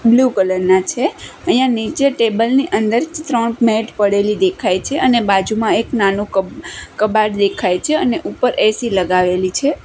Blue colour ના છે અહિયા નીચે ટેબલ ની અંદર ત્રણ મેટ પડેલી દેખાઈ છે અને બાજુમાં એક નાનુ કબાટ દેખાઈ છે અને ઉપર એ_સી લગાવેલી છે.